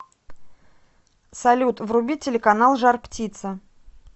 салют вруби телеканал жар птица